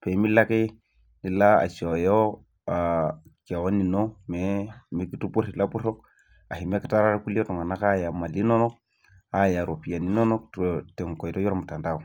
pee milo ake mikitupuro iltunganak aya imali inonok, aya iropiyiani inonok tenkoitoi olmutandao.